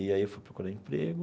E aí eu fui procurar emprego.